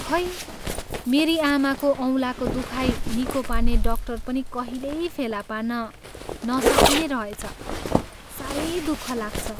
खै मेरी आमाको औँलाको दुखाइ निको पार्ने डाक्टर पनि कहिल्यै फेला पार्न नसकिने रहेछ। साह्रै दुःख लाग्छ।